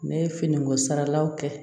Ne ye finiko saralaw kɛ